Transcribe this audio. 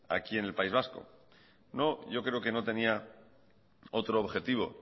aquí en el país vasco no yo creo que no tenía otro objetivo